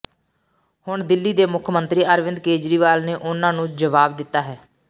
ਹੁਣ ਦਿੱਲੀ ਦੇ ਮੁੱਖ ਮੰਤਰੀ ਅਰਵਿੰਦ ਕੇਜਰੀਵਾਲ ਨੇ ਉਨ੍ਹਾਂ ਨੂੰ ਜਵਾਬ ਦਿੱਤਾ ਹੈ